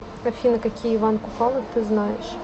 афина какие иван купала ты знаешь